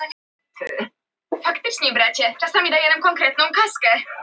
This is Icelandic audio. Ætlar frökenin að fara út og skjóta fólk? spurði pabbi stríðnislega.